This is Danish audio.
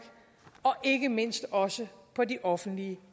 og ikke mindst også på de offentligt